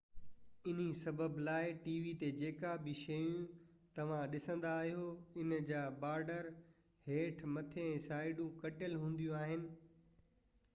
انهي سبب لاءِ ٽي وي تي جيڪا به شيءِ توهان ڏسندا آهيو ان جا بارڊر هيٺ مٿي ۽ سائيڊون ڪٽيل هونديون آهن